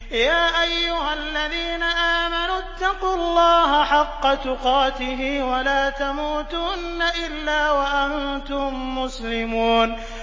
يَا أَيُّهَا الَّذِينَ آمَنُوا اتَّقُوا اللَّهَ حَقَّ تُقَاتِهِ وَلَا تَمُوتُنَّ إِلَّا وَأَنتُم مُّسْلِمُونَ